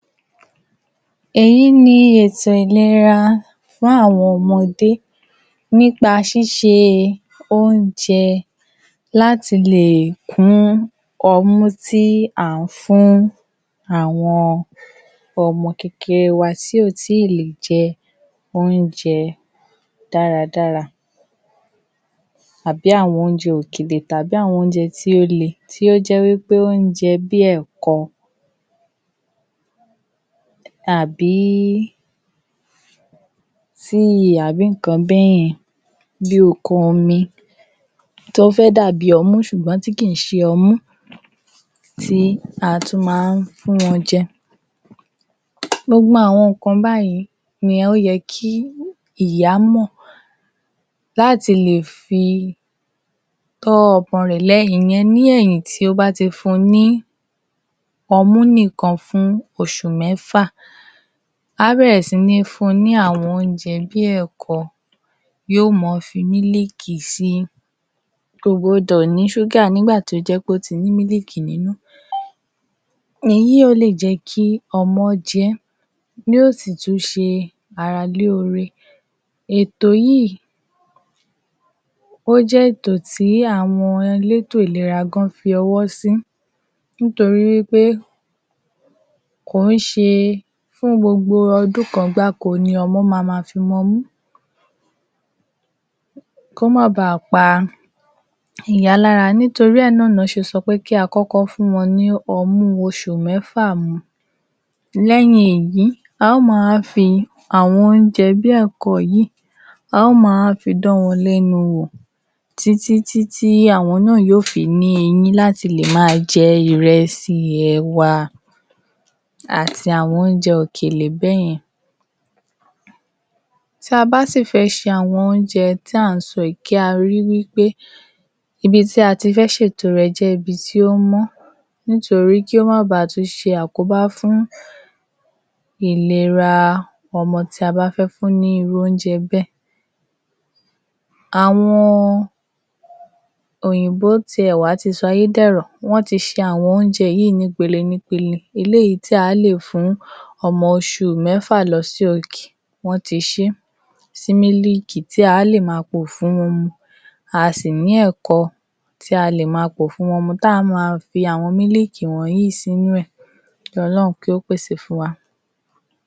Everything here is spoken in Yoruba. Èyí ni ètò ìlera fún àwọn ọmọdé nípa ṣíṣe oúnjẹ láti léè kún ọmú tí à ń fún àwọn omo kékeré wa tí ó tí lè jẹ oúnjẹ dáradára tàbí àwọn oúnjẹ òkèlè tàbí àwọn oúnjẹ tí ó le tí ó jẹ́ wípẹ́ oúnjẹ bíi ẹ̀kọ???? tàbí sírìn tàbí ìkan bẹ́ẹ́ yẹn bí ikuomi tó fẹ́ dàbi ọmú sùgbọ́n tí kìí ṣe ọmú tí a tún máa ń fún wọn jẹ gbogbo àwọn ìkan báyẹn ni ó yẹ kí ìyá mọ̀ láti lè fi tọ́ ọmọ rẹ̀ léyìn ìyẹn lẹ́yìn tí ó bá ti fún ní ọmú nì kan fún òsù mẹ́fà. Ábẹ̀ẹ̀rẹ̀ sí ní fún n ní àwọn oúnjẹ bíi ẹ̀kọ yóò mọ́ fi mílìkì síi kò gbọdọ̀ ní súgà nígbà tí ó tí ó jẹpé ní mílìkì nínú èyí óle jẹ́kí ọmọ ọ́ jẹ́ yóó sì tún ṣe ara lóore ètò yìí ó jẹ́ ètò tí àwọn elétò ìlera fọwọ́ sí nítorí wípé kìí ṣe fún gbọgbọ ọdún kan gbáko ni ọmọ máa máa fi mu ọmu kó má baa pa ìyá lára nítorí ẹ̀ náà ná ṣe ṣo pé kí á kọ́kọ́ fún wọn ní ọmú osù mẹ́fà mu. lẹ́yìn èyí a máa wá fi àwọn oúnjẹ bíi ẹ̀kọ yìí a ó máa fi dán wọn lẹ́nu wọ̀ tí tí tí àwọn náà yóò fi ní eyín láti le máa jẹ ìrẹsì ẹ̀wà àti àwọn oúnjẹ òkèlè bẹ́ yẹn tí a bá sí fè ṣe àwọn oúnjẹ tí a ń sọ yìí kí á ríi wípé ibití a ti fẹ́ se ètò rẹ̀ jẹ́ ibi tí ó mọ́ nítorí kó má báà tún ṣe àkọ́bá fún ìlera ọmọ tí a bá fé fún ní irú oúnjẹ bẹ́ẹ̀ àwọn òyìnbó ti ẹ̀ wá ti sayé dẹ̀rọ̀ wọ́n ti se àwọn oúnjẹ yíì ní pele ní pele eléyìí tí a lè fún ọmọ òsù mẹ́fà losókè wọ́n ti sé sí mílìkì tí a le máa pò fún wọn mu. Asì ní ẹ̀kọ tí a lè máa pò fún wọn mu tá a máa fi àwọn mílìkì wònyí sínú rè kí olórun kí ó pèsè fún wa.